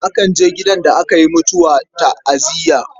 Akan je gidan da aka yi mutuwa ta'aziyya.